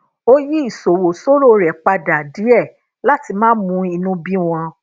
ó yí isowo soro re pada díè láti má bàa mú inú bí wọn